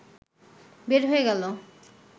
বের হয়ে গেল